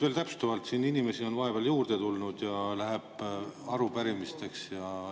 Veel täpsustavalt: siin on inimesi vahepeal juurde tulnud ja läheb arupärimiste.